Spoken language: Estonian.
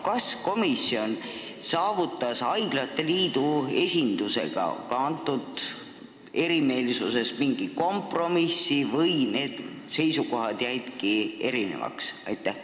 Kas komisjon saavutas haiglate liidu esindusega selle erimeelsuse puhul mingi kompromissi või seisukohad jäidki erinevaks?